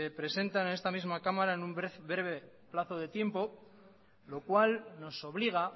presentan en esta misma cámara en un breve plazo de tiempo lo cual nos obliga